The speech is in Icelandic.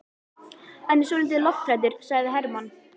Hann er svolítið lofthræddur, sagði Hermann.